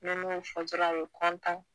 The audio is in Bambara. Ni ne y'o fɔ dɔrɔn a be kɔntan